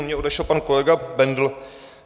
U mě odešel pan kolega Bendl.